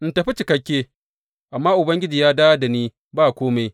In tafi cikakke, amma Ubangiji ya dawo da ni ba kome.